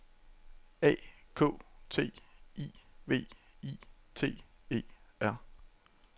A K T I V I T E R